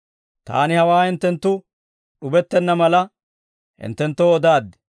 «Taani hawaa hinttenttu d'ubettenna mala, hinttenttoo odaaddi.